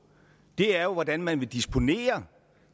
er jo hvordan man vil disponere